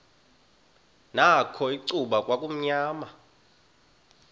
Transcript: nakho icuba kwakumnyama